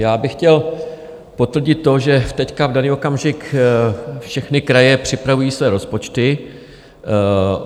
Já bych chtěl potvrdit to, že teď, v daný okamžik, všechny kraje připravují své rozpočty.